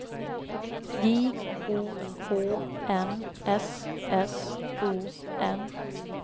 J O H N S S O N